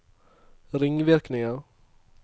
ringvirkninger